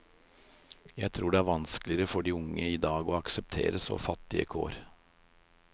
Jeg tror det er vanskeligere for de unge i dag å akseptere så fattige kår.